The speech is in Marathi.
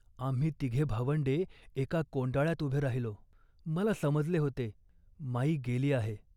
आम्ही तिघे भावंडे एका कोंडाळ्यात उभे राहिलो. मला समजले होते, माई गेली आहे